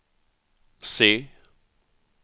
C